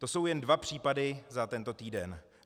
To jsou jen dva případy za tento týden.